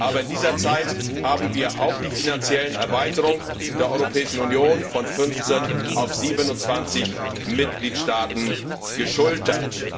Aber in dieser Zeit haben wir auch die finanzielle Erweiterung der Europäischen Union von 15 auf 27 Mitgliedstaaten geschultert.